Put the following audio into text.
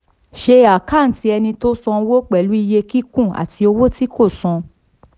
ṣe àkántì ẹni tó sanwó pẹ̀lú iye kíkún àti owó tí kò san.